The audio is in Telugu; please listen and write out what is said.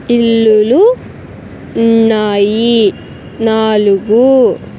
ఇల్లులు ఉన్నాయి నాలుగు.